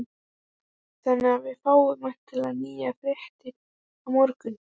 Jóhann: Þannig að við fáum væntanlega nýjar fréttir á morgun?